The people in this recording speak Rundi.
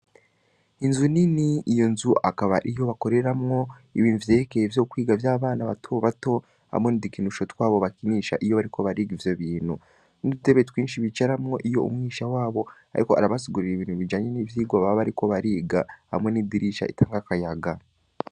Inzu nini, iyo nzu akaba ari iyo bakoreramwo ibintu vyerekeye vyo kwiga vy’abana bato bato, hamwe n'ukinisho twabo bakinisha iyo bariko bariga ivyo bintu; n’udutebe twinshi bicaramwo, iyo umwigisha wabo ariko arabasigurira ibintu bijanye n’ivyigwa baba bariko bariga; hamwe n’idirisha ritanga akayaga.